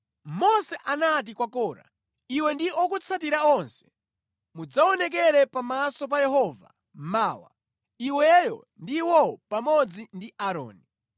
Mose anati kwa Kora, “Iwe ndi okutsatira onse mudzaonekere pamaso pa Yehova mawa, iweyo ndi iwowo pamodzi ndi Aaroni.